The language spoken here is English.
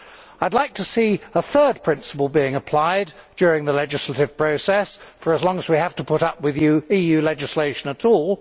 I would like to see a third principle being applied during the legislative process for as long as we have to put up with EU legislation at all.